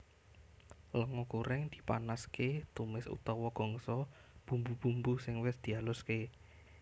Lenga goreng dipanaske tumis utawa gongso bumbu bumbu sing wis dialuske